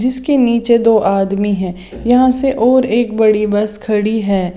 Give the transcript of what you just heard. जिसके नीचे दो आदमी है यहां से और एक बड़ी बस खड़ी है।